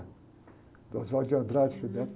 do Oswald de Andrade, o Frei.